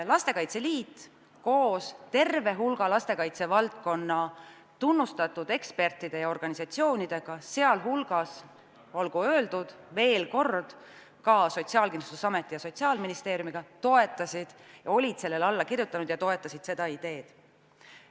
Lastekaitse Liit koos terve hulga lastekaitsevaldkonna tunnustatud ekspertide ja organisatsioonidega, sealhulgas, olgu öeldud veel kord, olid ka Sotsiaalkindlustusamet ja Sotsiaalministeerium, toetasid seda ideed ja olid sellele alla kirjutanud.